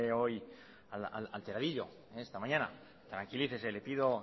hoy alteradillo esta mañana tranquilícese le pido